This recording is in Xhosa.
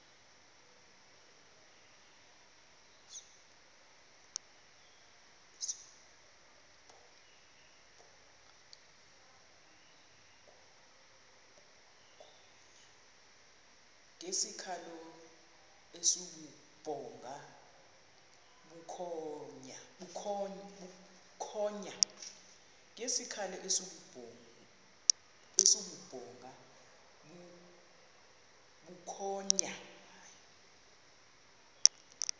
ngesikhalo esibubhonga bukhonya